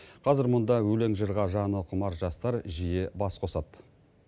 қазір мұнда өлең жырға жаны құмар жастар жиі бас қосады